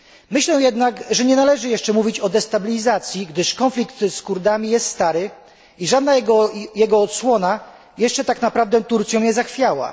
Myślę jednak, że nie należy jeszcze mówić o destabilizacji, gdyż konflikt z Kurdami jest stary i żadna jego odsłona jeszcze tak naprawdę Turcją nie zachwiała.